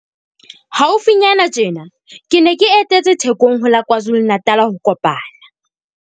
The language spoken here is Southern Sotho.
Haufinyana tjena ke ne ke etetse Thekong ho la KwaZulu-Natal ho kopana